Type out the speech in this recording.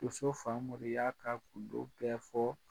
Doso Famori y'a ka gundo bɛɛ fɔɔ